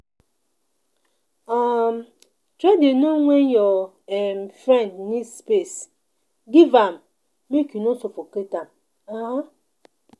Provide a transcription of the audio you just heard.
um Try dey know wen your um friend need space, give am make you no suffocate am. um